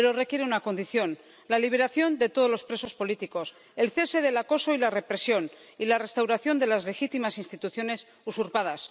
Pero requiere una condición la liberación de todos los presos políticos, el cese del acoso y la represión y la restauración de las legítimas instituciones usurpadas.